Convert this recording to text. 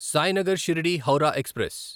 Sainagar Shirdi Howrah express